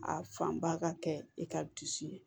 A fanba ka kɛ i ka dusu ye